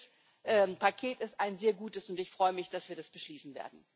Dieses Paket ist ein sehr gutes, und ich freue mich, dass wir das beschließen werden.